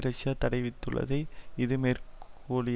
Russia தடைவிதித்துள்ளதை இது மேற்க்கோளி